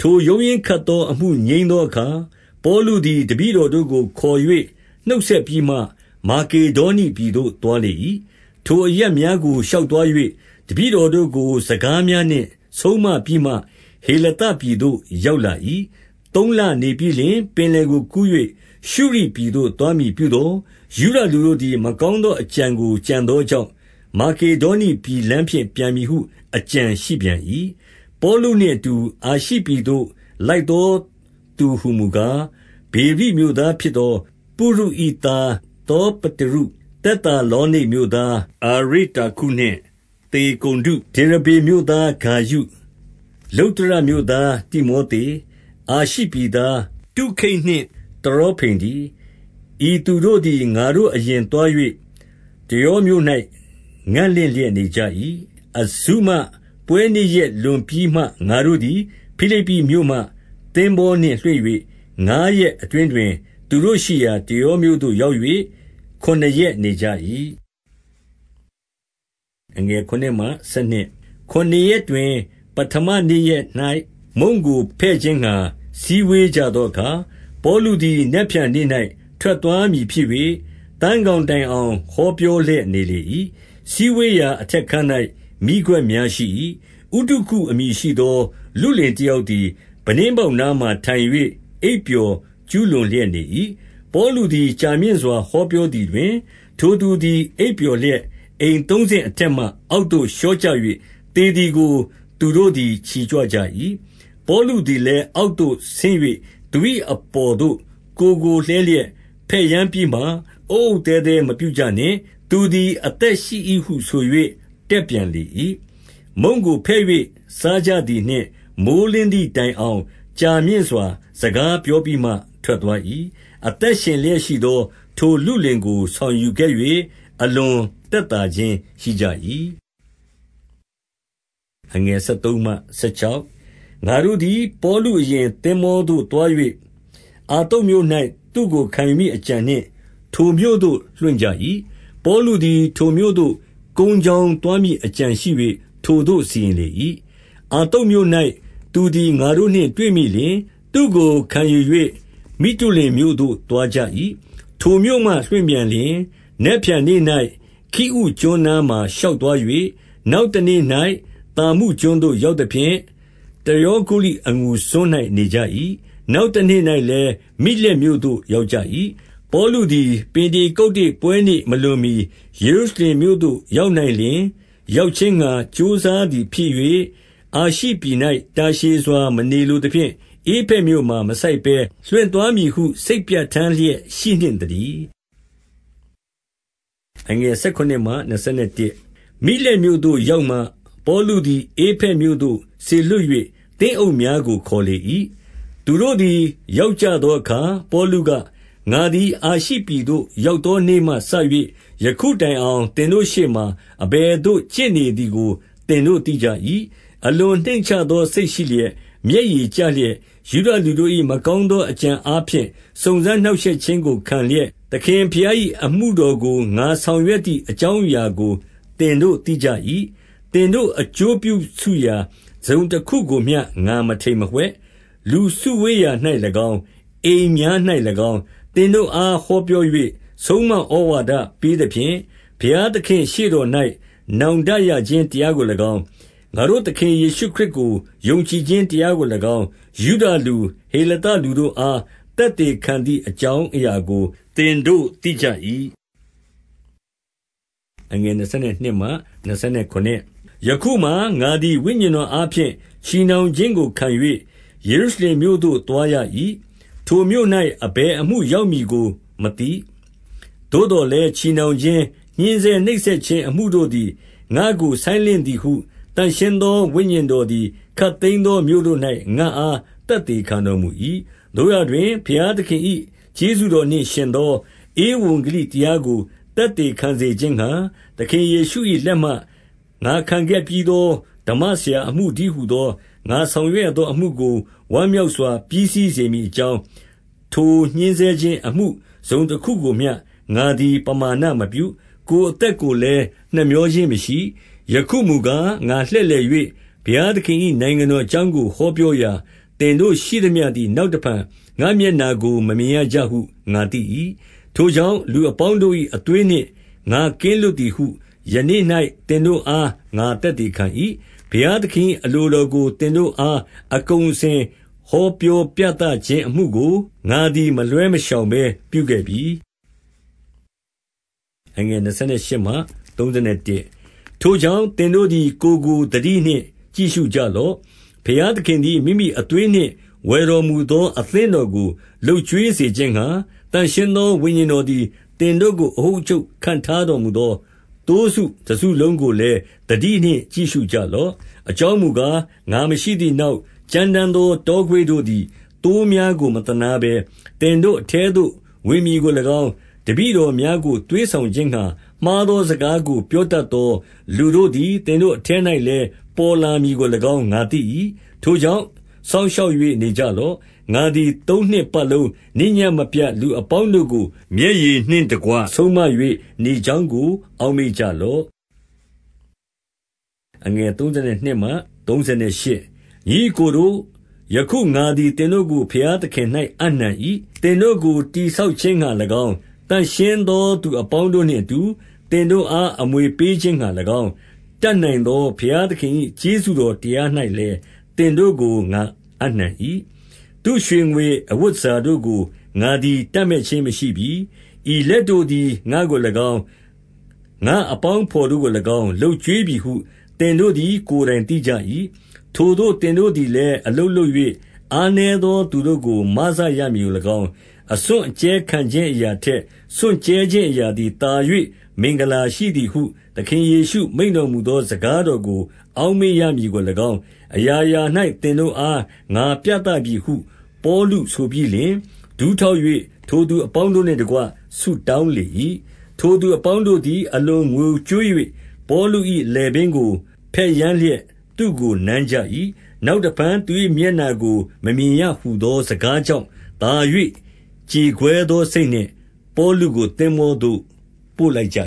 ထိုရုန်ရင်းခတ်သော အမှုငြိမ်းသောအခါ ပေါလုသည်၊ တပည့်တော်တို့ကိုခေါ်၍ နှုတ်ဆက်ပြီးမှ မာကေဒေါနိပြည်သို့သွား လေ၏။ ထိုအရပ်များကိုရှောင်သွား၍ တပည့်တော်တို့ကို စကားများနှင့် ဆုံးမပြီးမှ ဟေလသပြည်သို့ ရောက်လာ၏။ သုံးလနေပြီးလျှင် ပင်လယ်ကိုကူး၍ ရှုရိပြည်သို့ သွားမည်ပြုသော်၊ ယုဒလူတို့သည် မကောင်းသောအကြံ ကို ကြံသောကြောင့်၊ မာကေ ဒေါနိပြည်လမ်းဖြင့် ပြန်မည်ဟု အကြံရှိပြန်၏။ ပေါလုနှင့်အတူအာရှိပြည်သို့ လိုက်သောသူ ဟူမူကား၊ ဗေရိ မြို့သားဖြစ်သော ပုရု၏သား သောပ တရု၊ သက်သာလောနိတ်မြို့သား အာရိတ္တာခုနှင့် သေ ကုန္ဒု၊ ဒေရဗေမြို့သားဂါယု၊ လုတ္တရမြို့သား တိမောသေ၊ အာရှိပြည်သား၊ တုခိတ်နှင့် တရောဖိမ်တည်း။ ဤသူတို့သည် ငါတို့အရင်သွား၍ တရောမြို့၌ ငံ့လင့်လျက် နေကြ၏။ အဇုမပွဲနေ့ရက်လွန်ပြီးမှ ငါတို့သည် ဖိလိပ္ပိမြို့မှ သင်္ဘောနှင့် လွှင့်၍ ငါးရက်အတွင်းတွင် သူတို့ရှိရာ တရောမြို့သို့ ရောက်၍ခုနစ်ရက် နေကြ၏။ ခုနစ်ရက်တွင် ပဌမနေ့ရက်၌ မုန့်ကိုဖဲ့ခြင်းငှါ စည်းဝေးကြသောအခါ၊ ပေါလုသည် နက်ဖြန်နေ့၌ ထွက်သွားမည်ဖြစ်၍၊ သန်းခေါင် တိုင်အောင် ဟောပြော လျက် နေလေ၏။ စည်းဝေးရာအထက်ခန်း၌ မီးခွက်များရှိ၏။ ဥတုခုအမည်ရှိသော လုလင်တယောက်သည် ပြတင်းပေါက် နားမှာထိုင်၍ အိပ်ပျော် ကျူးလွန်လျက် နေ၏။ ပေါလုသည် ကြာမြင့်စွာ ဟောပြောသည်တွင်၊ ထိုသူသည် အိပ်ပျော်လျက် အိမ်သုံးဆင့်အထက်မှ အောက်သို့လျော့ကျ၍ သေသည်ကို သူတို့သည်ချီ ကြွကြ၏။ ပေါလုသည်လည်းအောက်သို့ ဆင်း၍သူ၏ အပေါ်သို့ကိုယ်ကို လှဲလျက် ဖက်ယမ်းပြီးမှ၊ အုတ်အုတ် သဲသဲ မပြုကြနှင့်။ သူသည် အသက်ရှိ၏ ဟုဆို၍ တက်ပြန် လေ၏။ မုန့်ကိုဖဲ့၍စားကြသည်နှင့် မိုဃ်းလင်းသည် တိုင်အောင် ကြာမြင့်စွာ စကားပြောပြီးမှထွက်သွား၏။ အသက်ရှင်လျက်ရှိသောထိုလုလင်ကို ဆောင်ယူခဲ့၍၊ အလွန်သက်သာခြင်းရှိကြ၏။ ငါတို့သည် ပေါလုအရင်သင်္ဘောသို့သွား၍၊ အဿုမြို့၌ သူ့ကို ခံယူမည်အကြံနှင့် ထိုမြို့သို့ လွှင့်ကြ၏။ ပေါလုသည်ထိုမြို့သို့ ကုန်းကြောင်းသွားမည်အကြံရှိ၍ ထိုသို့စီရင်လေ၏။ အဿုမြို့၌ သူသည်ငါတို့နှင့်တွေ့မိလျှင်၊ သူ့ကိုခံယူ၍ မိတုလင်မြို့သို့သွားကြ၏။ ထိုမြို့မှလွှင့်ပြန်လျှင် နက်ဖြန်နေ့၌ ခိအုကျွန်းနားမှာရှောက်သွား၍ နောက်တနေ့၌ သာမုကျွန်းသို့ ရောက်သဖြင့်၊ တရောဂုလိအငူစွန်း၌နေကြ၏။ နောက်တနေ့၌လည်း မိလက်မြို့သို့ရောက်ကြ၏။ ပေါလုသည် ပင်တေကုတ္တေပွဲနေ့မလွန်မှီ ယေရုရှလင်မြို့သို့ ရောက်နိုင်လျှင်ရောက်ခြင်းငှါ ကြိုးစား သည်ဖြစ်၍ အာရှိပြည်၌ တာရှည်စွာ မနေလိုသဖြင့် ဧဖက်မြို့မှာ မဆိုက်ဘဲ လွှင့်သွားမည်ဟု စိတ်ပြဋ္ဌာန်း လျက်ရှိနှင့်သတည်း။ မိလက်မြို့သို့ရောက်မှ ပေါလုသည် ဧဖက်မြို့သို့ စေလွှတ်၍ သင်းအုပ်များကို ခေါ်လေ၏။ သူတို့သည် ရောက်ကြသောအခါ၊ ပေါလုက၊ ငါသည်အာရှိ ပြည်သို့ရောက်သော နေ့မှစ၍ ယခုတိုင် အောင် သင်တို့ရှေ့မှာ အဘယ်သို့ ကျင့်နေသည်ကို သင်တို့သိကြ၏။ အလွန်နှိမ့်ချသောစိတ်ရှိလျက်၊ မျက်ရည်ကျလျက်၊ ယုဒလူတို့၏ မကောင်းသောအကြံအားဖြင့် စုံစမ်းနှောင့်ရှက်ခြင်းကိုခံလျက်၊ သခင်ဘုရား၏ အမှုတော်ကို ငါဆောင်ရွက်သည် အကြောင်းအရာကို သင်တို့သိကြ၏။ သင်တို့အကျိုးတစုံတခုကိုမျှ ငါမထိမ်မဝှက်။ လူစုဝေးရာ၌၎င်း၊ အိမ်များ၌၎င်း၊ သင်တို့အားဟောပြော ၍ ဆုံးမဩဝါဒ ပေးသဖြင့်၊ ဘုရားသခင့်ရှေ့တော်၌ နောင်တရခြင်းတရားကို၎င်း၊ ယုဒလူ၊ ဟေလသလူတို့အား သက်သေခံသည် အကြောင်းအရာကို သင်တို့ သိကြ၏။ ယခုမှာငါသည် ဝိညာဉ်တော်အားဖြင့် ချည်နှောင်ခြင်းကိုခံ၍၊ ယေရုရှလင်မြို့သို့သွားရ၏။ ထိုမြို့၌ အဘယ်အမှုရောက်မည်ကိုမသိ။ သို့သော်လည်းချည်နှောင်ခြင်း၊ ညှဉ်းဆဲနှိပ်စက်ခြင်းအမှုတို့သည် ငါ့ကိုဆိုင်းလင့်သည်ဟု သန့်ရှင်းသော ဝိညာဉ်တော်သည် ခပ်သိမ်းသောမြို့တို့၌ ငါ့အား သက်သေခံတော်မူ၏။ သို့ရာတွင် ဘုရားသခင်၏ ကျေးဇူးတော်နှင့်ယှဉ်သော ဧဝံဂေလိတရားကို သက်သေခံစေခြင်းငှါ၊ သခင်ယေရှု၏လက်မှ ငါခံခဲ့ပြီးသောဓမ္မဆရာ အမှုတည်း ဟူသော ငါဆောင်ရွက်ရသောအမှုကို ဝမ်းမြောက် စွာ ပြီးစီးစေမည်အကြောင်း၊ ထိုညှဉ်းဆဲခြင်းအမှု တစုံတခုကိုမျှ ငါသည်ပမာဏမပြု၊ ကိုယ်အသက်ကိုလည်း နှမြောခြင်းမရှိ၊ ယခုမူကား၊ ငါလှည့်လည်၍ ဘုရားသခင်၏ နိုင်ငံတော်အကြောင်းကို ဟောပြောရာ၊ သင်တို့ရှိသမျှ သည် နောက်တဖန်ငါ့ မျက်နှာကို မမြင်ရကြဟုငါသိ၏။ ထိုကြောင့်၊ လူအပေါင်းတို့၏အသွေးနှင့် ငါကင်းလွတ် သည်ဟု ယနေ့၌ သင်တို့အား ငါသက်သေခံ ၏။ ဘုရားသခင်၏အလိုတော်ကိုသင်တို့အား အကုန်အစင် ဟောပြောပြသခြင်းအမှုကို ငါသည်မလွှဲ မရှောင်ဘဲပြုခဲ့ပြီ။ ထိုကြောင့် သင်တို့သည် ကိုယ်ကို သတိနှင့် ကြည့်ရှုကြလော့။ ဘုရားသခင်သည် မိမိအသွေးနှင့် ဝယ်တော်မူသောအသင်းတော်ကို လုပ်ကျွေးစေခြင်းငှါ၊ သန့်ရှင်းသောဝိညာဉ်တော်သည် သင်တို့ကို အအုပ် အချုပ် ခန့်ထားတော်မူသော သိုးစုတစုလုံးကိုလည်း သတိနှင့် ကြည့်ရှုကြလော့။ အကြောင်းမူကား၊ ငါမရှိသည်နောက်၊ ကြမ်းတမ်းသော တောခွေးတို့သည် သိုးများကို မသနားဘဲ သင်တို့အထဲသို့ဝင်မည်ကို၎င်း၊ တပည့်တော်များကိုသွေးဆောင်ခြင်းငှါ၊ မှားသောစကားကို ပြောတတ်သောလူတို့သည် သင်တို့အထဲ၌လည်း ပေါ်လာမည်ကို၎င်း ငါသိ၏။ ထိုကြောင့် စောင့်ရှောက်၍နေကြလော့။ ငါသည်သုံးနှစ်ပတ် လုံးနေ့ညမပြတ်လူအပေါင်းတို့ကို မျက်ရည်နှင့်တကွ ဆုံးမ၍ နေကြောင်းကို အောက်မေ့ကြ လော့။ ညီအစ်ကိုတို့၊ ယခုငါသည်သင်တို့ကို ဘုရားသခင်၌ အပ်နှံ၏။ သင်တို့ကို တည်ဆောက်ခြင်းငှါ၎င်း၊ သန့်ရှင်းသောသူအပေါင်းတို့နှင့် အတူသင်တို့အား အမွေပေးခြင်းငှါ၎င်း၊ တတ်နိုင်သောဘုရားသခင်၏ ကျေးဇူးတော်တရား၌လည်း သင်တို့ကိုငါအပ်နှံ၏။ သူ့ရွှေငွေ အဝတ်တန်ဆာတို့ကို ငါသည်တပ်မက်ခြင်းမရှိပြီ။ ဤလက်တို့သည် ငါ့ကို၎င်း၊ ငါ့အပေါင်းအဘော် တို့ကို၎င်း၊ လုပ်ကျွေးပြီဟု သင်တို့သည် ကိုယ်တိုင်သိကြ၏။ ထိုသို့သင်တို့သည်လည်း အလုပ်လုပ်၍ အားနည်းသော သူတို့ကို မစရမည်ကို၎င်း၊ အစွန့်အကြဲ ခံခြင်း အရာထက် စွန့်ကြဲခြင်း အရာသည်သာ၍ မင်္ဂလာရှိသည်ဟု သခင်ယေရှုမိန့်တော်မူသော စကားတော်ကို အောက်မေ့ရမည်ကို၎င်း၊ အရာရာ၌ သင်တို့အား ငါပြသပြီဟု၊ ပေါလုဆိုပြီးလျှင်၊ ဒူးထောက်၍ ထိုသူအပေါင်း တို့နှင့်တကွ ဆုတောင်းလေ၏။ ထိုသူအပေါင်းတို့သည် အလွန်ငိုကြွေး၍၊ ပေါလု၏ လည်ပင်းကို ဘက်ယမ်းလျက် သူ့ကိုနမ်းကြ၏။ နောက်တဖန် သူ၏မျက်နှာကို မမြင်ရဟူသော စကားကြောင့် သာ၍ ကြေကွဲသောစိတ်နှင့် ပေါလုကို သင်္ဘောသို့ ပို့လိုက်ကြ